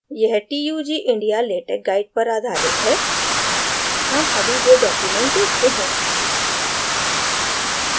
यह tug india latex guide पर आधारित है हम अभी वो document देखते हैं